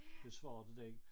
Besvarede den